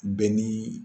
Bɛn ni